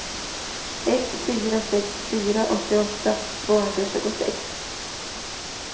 ett fyra sex fyra åttioåtta tvåhundratjugosex